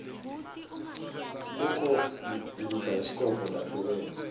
kukho naemabhayisikobho lahlukene